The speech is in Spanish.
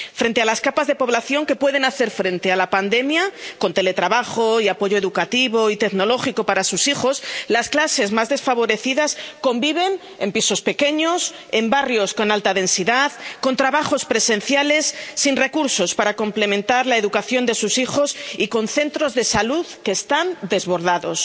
Frente a las capas de población que pueden hacer frente a la pandemia con teletrabajo y apoyo educativo y tecnológico para sus hijos, las clases más desfavorecidas conviven en pisos pequeños, en barrios con alta densidad, con trabajos presenciales, sin recursos para complementar la educación de sus hijos y con centros de salud que están desbordados.